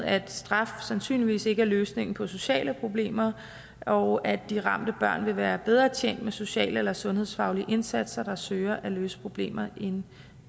at straf sandsynligvis ikke er løsningen på sociale problemer og at de ramte børn vil være bedre tjent med sociale eller sundhedsfaglige indsatser der søger at løse problemer end